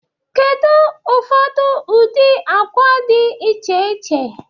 Kedu ụfọdụ ụdị akwa dị iche iche dị?